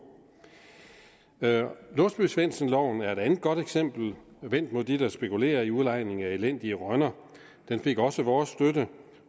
låsby svendsen loven er et andet godt eksempel vendt mod dem der spekulerer i udlejning af elendige rønner den fik også vores støtte